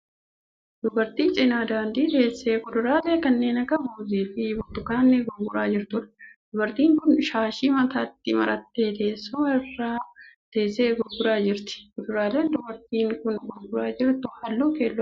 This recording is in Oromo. Dubartii cina daandii teessee kuduraalee kanneen akka muuzii fi burtukaanii gurguraa jirtuudha. Dubartiin kun shaashii mataatti marattee teessuma irra teessee gurguraa jirti. Kuduraaleen dubartiin kun gurguraa jirtu halluu keelloo qabu.